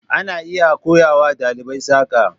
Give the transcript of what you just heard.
ana iya koya wa ɗalibai saƙa.